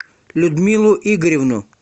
людмилу игоревну